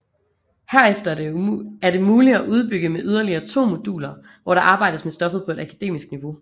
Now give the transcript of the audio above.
Herefter er det muligt at udbygge med yderligere 2 moduler hvor der arbejdes med stoffet på et akademisk niveau